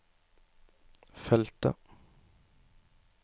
feltet